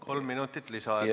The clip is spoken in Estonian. Kolm minutit lisaaega.